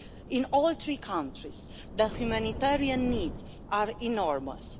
In all three countries, the humanitarian needs are enormous.